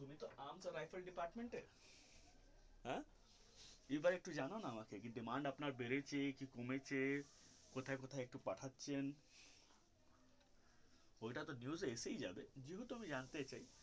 Rifle department হ্যা এই ব্যাপারে একটু জানাও না আমাকে demand আপনার বেড়েছে কি কমেছে কোথায় কোথায় পাঠাচ্ছেন ওইটা তো news আসায় যাবে যেহেতু আমি জানতে চাই.